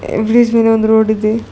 A bridge ಮೇಲೆ ಒಂದು road ಇದೆ.